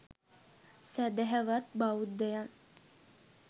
සැදැහවත් බෞද්ධයන්